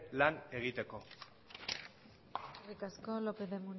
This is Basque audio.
lan egiteko eskerrik asko lopez de